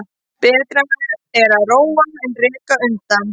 Betra er að róa en reka undan.